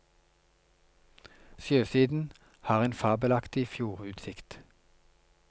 Sjøsiden har en fabelaktig fjordutsikt.